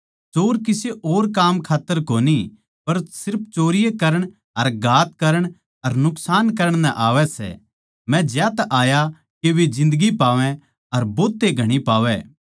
चोर किसे और काम खात्तर कोनी पर सिर्फ चोरी करण अर घात करण अर नुकसान करण नै आवै सै मै ज्यांतै आया के वे जिन्दगी पावै अर भोतए घणी पावै